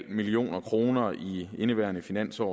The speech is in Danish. million kroner i indeværende finansår